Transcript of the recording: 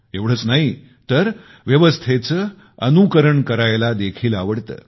एवढेच नाहीतर व्यवस्थेचे अनुसरण करायला देखील आवडते